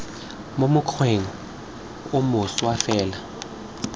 mo mokgweng o mošwa fela